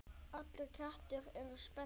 Allir kettir eru spendýr